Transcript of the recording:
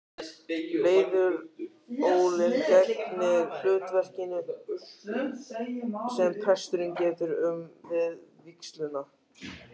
Leðurólin gegnir hlutverkinu sem presturinn getur um við vígsluna.